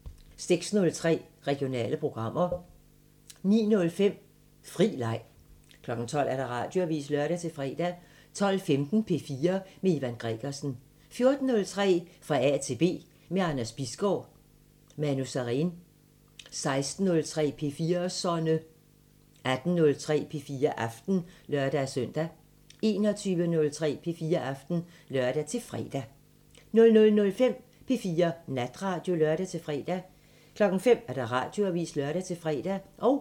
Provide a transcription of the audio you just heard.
06:03: Regionale programmer 09:05: Fri Leg 12:00: Radioavisen (lør-fre) 12:15: P4 med Ivan Gregersen 14:03: Fra A til B – med Anders Bisgaard: Manu Sareen 16:03: P4'serne 18:03: P4 Aften (lør-søn) 21:03: P4 Aften (lør-fre) 00:05: P4 Natradio (lør-fre) 05:00: Radioavisen (lør-fre)